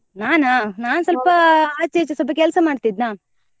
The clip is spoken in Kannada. ನಾನಾ ನಾನ್ ಸ್ವಲ್ಪ ಆಚೆ ಈಚೆ ಸ್ವಲ್ಪ ಕೆಲ್ಸ ಮಾಡ್ತಾ ಇದ್ನ.